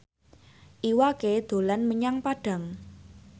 Iwa K dolan menyang Padang